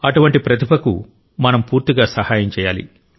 అటువంటి ప్రతిభకు మనం పూర్తిగా సహాయం చేయాలి